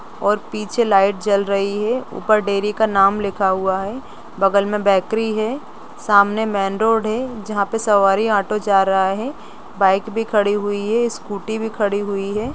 और पीछे लाइट जल रही है ऊपर डेरी का नाम लिखा हुआ है बगल में बेकरी है सामने मेन रोड है जहाँ पे सवारी ऑटो जा रहा है बाइक भी खड़ी हुई है स्कूटी भी खड़ी हुई है।